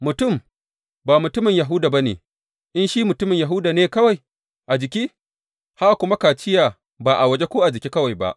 Mutum ba mutumin Yahuda ba ne in shi mutumin Yahuda ne kawai a jiki, haka kuma kaciya ba a waje ko a jiki kawai ba.